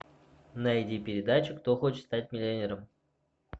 найди передачу кто хочет стать миллионером